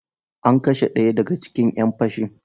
An kashe ɗaya daga cikin ‘yan fashin.